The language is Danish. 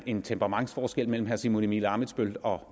en temperamentsforskel mellem herre simon emil ammitzbøll og